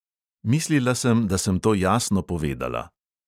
Mislila sem, da sem to jasno povedala.